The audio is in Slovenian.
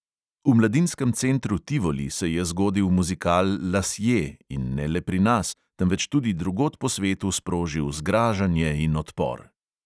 V mladinskem centru tivoli se je zgodil muzikal lasje in ne le pri nas, temveč tudi drugod po svetu sprožil zgražanje in odpor.